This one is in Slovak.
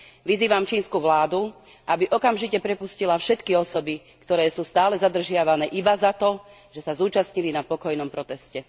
Vyzývam čínsku vládu, aby okamžite prepustila všetky osoby, ktoré sú stále zadržiavané iba preto, že sa zúčastnili na pokojnom proteste.